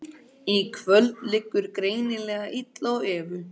Í kvöld liggur greinilega illa á Evu.